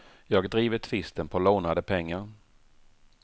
Jag driver tvisten på lånade pengar.